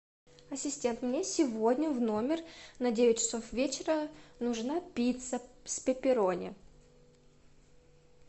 ассистент мне сегодня в номер на девять часов вечера нужна пицца с пепперони